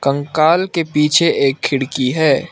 कंकाल के पीछे एक खिड़की है।